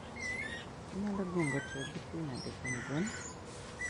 Inyalo gengo tiyo gi pii nade kuom gwen?